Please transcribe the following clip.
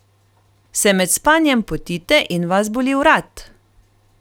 Se med spanjem potite in vas boli vrat?